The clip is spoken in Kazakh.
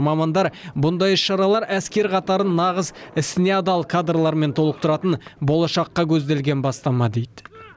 мамандар мұндай іс шаралар әскер қатарын нағыз ісіне адал кадрлармен толықтыратын болашаққа көзделген бастама дейді